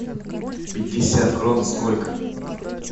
пятьдесят крон сколько